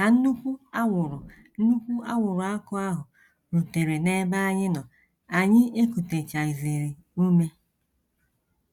Ka nnukwu anwụrụ nnukwu anwụrụ ọkụ ahụ rutere n’ebe anyị nọ, anyị ekutechaghịzi ume.